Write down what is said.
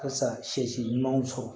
Ka sasi si ɲumanw sɔrɔ